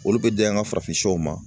Olu bɛ d'an ka farafinw sɛw ma